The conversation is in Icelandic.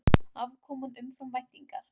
Afkoman umfram væntingar